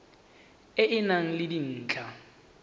e e nang le dintlha